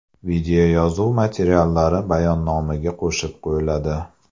Videoyozuv materiallari bayonnomaga qo‘shib qo‘yiladi.